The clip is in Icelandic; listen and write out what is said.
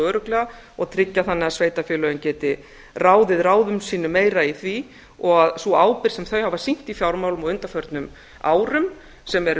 örugglega og tryggja þannig að sveitarfélögin geti ráðið ráðum sínum meira í því og sú ábyrgð sem þau hafa sýnt í fjármálum á undanförnum árum sem eru